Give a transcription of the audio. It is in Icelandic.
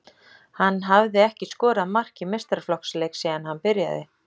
Hann hafði ekki skorað mark í meistaraflokksleik síðan hann byrjaði.